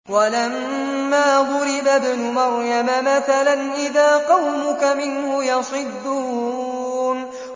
۞ وَلَمَّا ضُرِبَ ابْنُ مَرْيَمَ مَثَلًا إِذَا قَوْمُكَ مِنْهُ يَصِدُّونَ